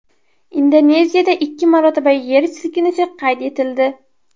Indoneziyada ikki marotaba yer silkinishi qayd etildi.